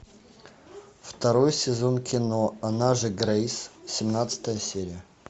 второй сезон кино она же грейс семнадцатая серия